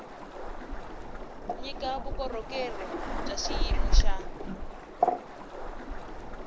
nyika vukorhokeri bya xiyimo xa